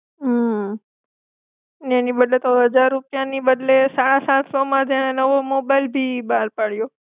હમ ને એની બદલે તો હાજર રૂપિયાની બદલે સાળ સાત સોમાં જ એ નવો મોબાઈલ બી બહાર પાડ્યો.